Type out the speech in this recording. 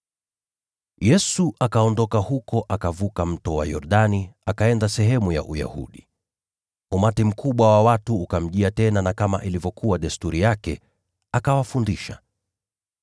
Yesu akaondoka huko, akavuka Mto Yordani, akaenda sehemu za Uyahudi. Umati mkubwa wa watu ukaenda kwake tena, naye kama ilivyokuwa desturi yake, akawafundisha.